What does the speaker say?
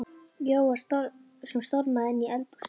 Jóa sem stormaði inn í eldhúsið.